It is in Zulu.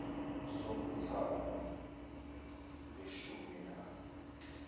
sombuthano weshumi nane